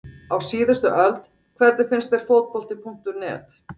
Á síðustu öld Hvernig finnst þér Fótbolti.net?